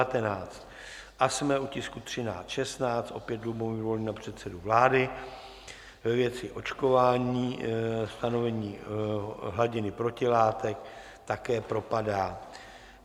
A jsme u tisku 1316, opět Lubomír Volný na předsedu vlády ve věci očkování, stanovení hladiny protilátek - také propadá.